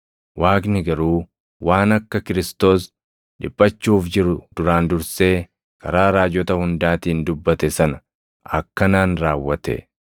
Waaqni garuu waan akka Kiristoos + 3:18 yookaan Masiihiin isaa dhiphachuuf jiru duraan dursee karaa raajota hundaatiin dubbate sana akkanaan raawwate.